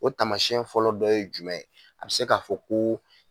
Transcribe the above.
O taamasiyɛn fɔlɔ dɔ ye jumɛn ye a bɛ se ka fɔ ko